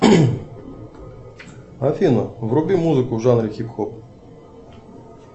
афина вруби музыку в жанре хип хоп